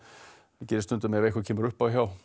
það gerist stundum ef eitthvað kemur upp á hjá